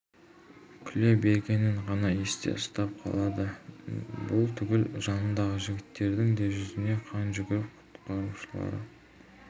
күле бергенін ғана есте ұстап қалады бұл түгіл жанындағы жігіттердің де жүзіне қан жүгіріп құтқарушылары